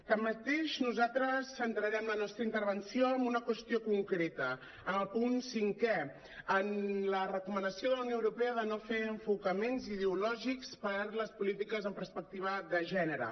tanmateix nosaltres centrarem la nostra intervenció en una qüestió concreta en el punt cinquè en la recomanació de la unió europea de no fer enfocaments ideològics per les polítiques en perspectiva de gènere